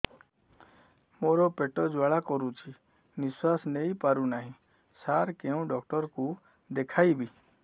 ମୋର ପେଟ ଜ୍ୱାଳା କରୁଛି ନିଶ୍ୱାସ ନେଇ ପାରୁନାହିଁ ସାର କେଉଁ ଡକ୍ଟର କୁ ଦେଖାଇବି